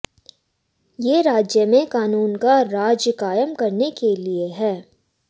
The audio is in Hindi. ये राज्य में कानून का राज कायम करने के लिए है